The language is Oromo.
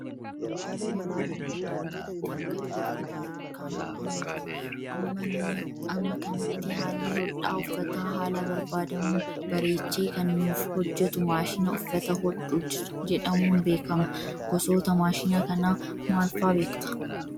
Yeroo ammaa kanatti akka durii uffata harkaan hodhuun jiru. Amma kanatti haalli hodhaa uffataa haala barbaadamuun bareechee kan nuuf hojjatu maashina uffata hodhu jedhamuun beekama. Gosoota maashina kanaa maal fa'aa beektaa?